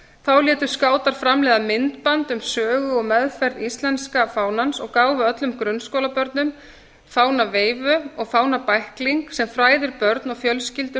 þá létu skátar framleiða myndband um sögu og meðferð íslenska fánans og gáfu öllum grunnskólabörnum fánaveifu og fánabækling sem fræðir börn og fjölskyldur